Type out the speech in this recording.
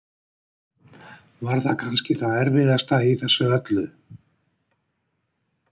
Var það kannski það erfiðasta í þessu öllu?